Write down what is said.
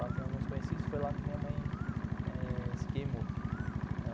Lá tem alguns conhecidos, foi lá que minha mãe eh se queimou.